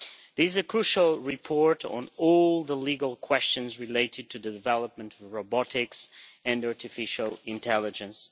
This is a crucial report on all the legal questions related to development of robotics and artificial intelligence.